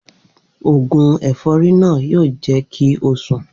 Oògùn è̩fó̩rí náà yóò jé̩ kí ó sùn